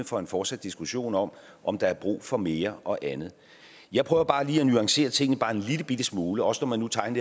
for en fortsat diskussion om om der er brug for mere og andet jeg prøver bare lige nuancere tingene en lillebitte smule også når man nu tegner